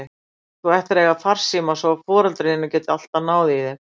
Þú ættir að eiga farsíma svo foreldrar þínir geti alltaf náð í þig.